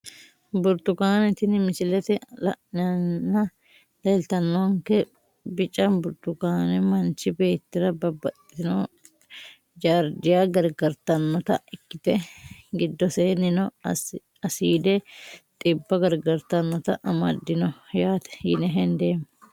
Burtukaale tini misilete la`neena leltawonke bica burtukaane manchi beetira babaxino jardya gargartanota ikite gidoseenino asiide xibba gargartanota amadino yaate yine hendeemo.